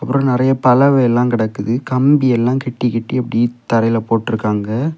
ஒரு நெறைய பலவையெல்லாம் கெடக்குது கம்பியெல்லா கெட்டி கெட்டி அப்படியே தரையில போட்ருக்காங்க.